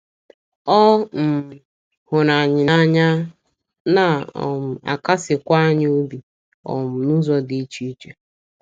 Ọ um hụrụ anyị n’anya, na um - akasikwa anyị obi um n’ụzọ dị iche iche.